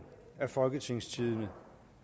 af folketingstidende